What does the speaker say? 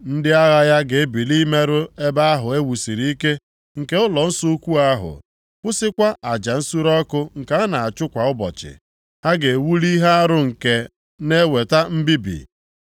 “Ndị agha ya ga-ebili imerụ ebe ahụ e wusiri ike nke ụlọnsọ ukwu ahụ, kwụsịkwa aja nsure ọkụ nke a na-achụ kwa ụbọchị. Ha ga-ewuli ihe arụ nke na-eweta mbibi.